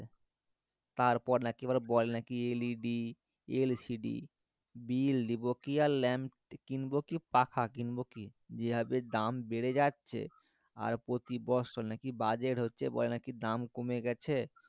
তার নাকি বলে বল LED, LCD bill দিবো কি আর ল্যাম্প কিনবো কি পাখা কিনবো কি যে ভাবে দাম বেড়ে যাচ্ছ আর প্রতি বছর নাকি বাজেট হচ্ছে বলে নাকি দাম কমে গেছে